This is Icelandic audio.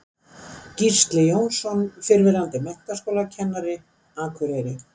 Gísli Jónsson, fyrrverandi menntaskólakennari, Akureyri